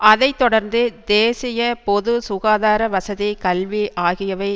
அதை தொடர்ந்து தேசிய பொது சுகாதார வசதி கல்வி ஆகியவை